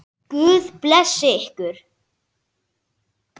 Guð blessi ykkur.